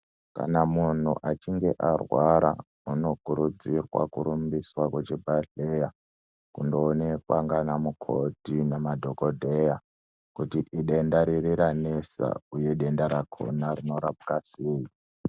Kana munhu achinge arwara anokurudzirwa kurumbiswa kuchibhehleya kundoonekwa nanamukoti nemadhokodheya kuti idenda riri ranesa uye denda rakona rinorapwa sei.